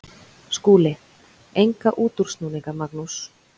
SKÚLI: Enga útúrsnúninga, Magnús.